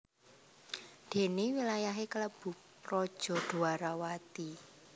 Dene wilayahe klebu Praja Dwarawati